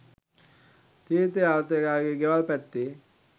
තීර්ථ යාත්‍රිකයා ගේ ගෙවල් පැත්තේ